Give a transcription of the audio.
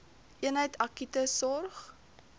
eenheid akute sorg